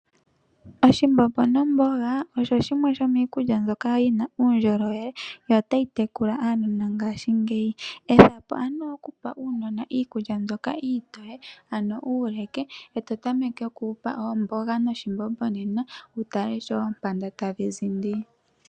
Oshimbombo nomboga osho shimwe shomiikulya mbyoka yina uundjolowele yo otayi tekula aanona ngashingeyi, ethapo ano okupa uunona iikulya mbyoka iitoye ano uuleke, ee totameke oku wu pa omboga noshimbombo nena wutale sho oompanda ta dhi zindi.